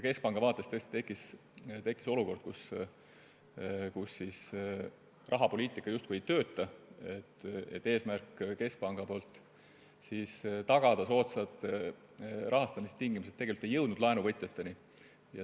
Keskpanga vaates tekkis olukord, kus rahapoliitika justkui ei tööta ja keskpanga eesmärk tagada soodsad rahastamistingimused ei jõudnud laenuvõtjateni.